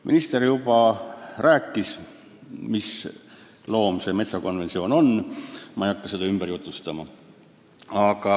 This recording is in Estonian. Minister juba rääkis, mis loom see Euroopa Metsainstituudi konventsioon on, ma ei hakka seda ümber jutustama.